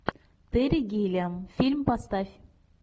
терри гиллиам фильм поставь